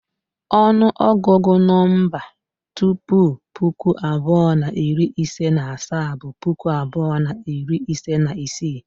Onuogugu no tupu puku abuo na iri ise na asaa bụ puku abuo na iri ise na isii.